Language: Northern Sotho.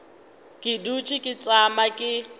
ke dutše ke tšama ke